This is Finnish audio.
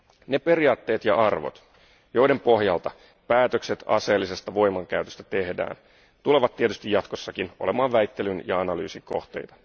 Ne periaatteet ja arvot, joiden pohjalta päätökset aseellisesta voimankäytöstä tehdään, tulevat tietysti jatkossakin olemaan väittelyn ja analyysin kohteita.